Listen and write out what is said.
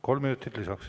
Kolm minutit lisaks.